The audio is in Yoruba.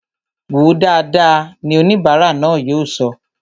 Wòó dáadáa! ni oníbara náà yóò sọ